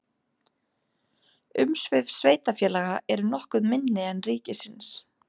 Umsvif sveitarfélaga eru nokkuð minni en ríkisins.